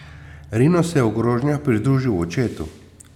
Rino se je v grožnjah pridružil očetu.